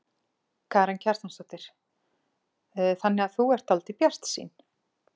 Karen Kjartansdóttir: Þannig að þú ert dálítið bjartsýn?